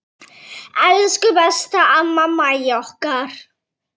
Elsku besta amma Mæja okkar.